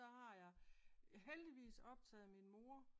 Så har jeg heldigvis optaget min mor